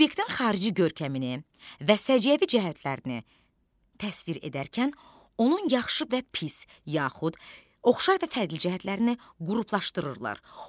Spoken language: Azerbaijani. Subyektin xarici görkəmini və səciyyəvi cəhətlərini təsvir edərkən, onun yaxşı və pis, yaxud oxşar və fərqli cəhətlərini qruplaşdırırlar.